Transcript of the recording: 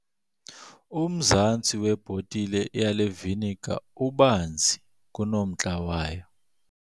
Umzantsi webhotile yale viniga ubanzi kunomntla wayo.